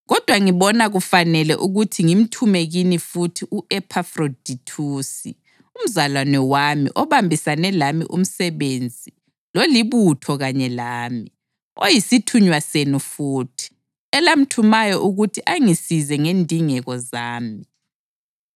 Kodwa ngibona kufanele ukuthi ngimthume kini futhi u-Ephafrodithusi, umzalwane wami, obambisane lami umsebenzi lolibutho kanye lami, oyisithunywa senu futhi, elamthumayo ukuthi angisize ngendingeko zami.